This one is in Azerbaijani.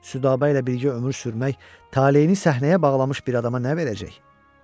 Südabə ilə birgə ömür sürmək, taleyini səhnəyə bağlamış bir adama nə verəcək?